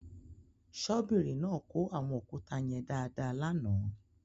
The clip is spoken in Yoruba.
Ṣọ́bìrì náà kó àwọn òkúta yẹn dáadáa lánàá.